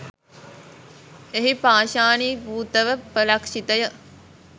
එහි පාෂාණීභූත ව උපලක්ෂිත ය.